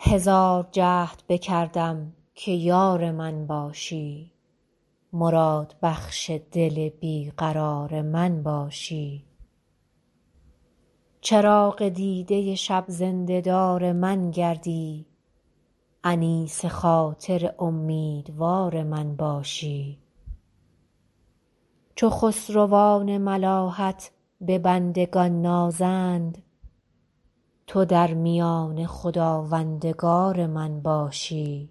هزار جهد بکردم که یار من باشی مرادبخش دل بی قرار من باشی چراغ دیده شب زنده دار من گردی انیس خاطر امیدوار من باشی چو خسروان ملاحت به بندگان نازند تو در میانه خداوندگار من باشی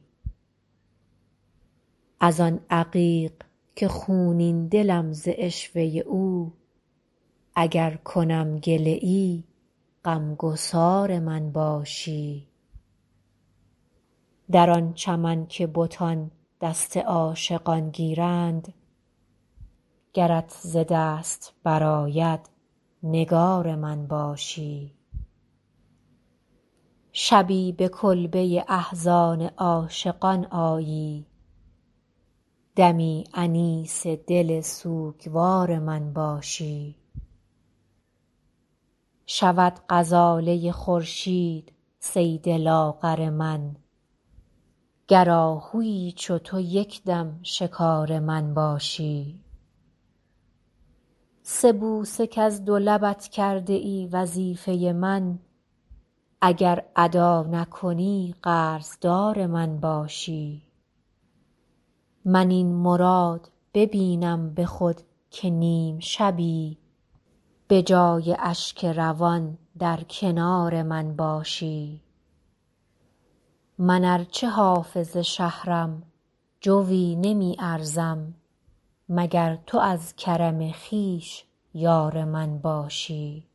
از آن عقیق که خونین دلم ز عشوه او اگر کنم گله ای غم گسار من باشی در آن چمن که بتان دست عاشقان گیرند گرت ز دست برآید نگار من باشی شبی به کلبه احزان عاشقان آیی دمی انیس دل سوگوار من باشی شود غزاله خورشید صید لاغر من گر آهویی چو تو یک دم شکار من باشی سه بوسه کز دو لبت کرده ای وظیفه من اگر ادا نکنی قرض دار من باشی من این مراد ببینم به خود که نیم شبی به جای اشک روان در کنار من باشی من ار چه حافظ شهرم جویی نمی ارزم مگر تو از کرم خویش یار من باشی